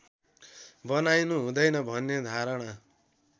बनाइनु हुँदैन भन्ने धारणा